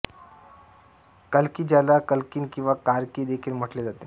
कल्की ज्याला कल्किन किंवा कार्की देखील म्हटले जाते